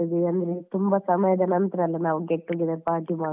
ಅಂದ್ರೆ ತುಂಬಾ ಸಮಯದ ನಂತರ ನಾವು get together party ಮಾಡುದು.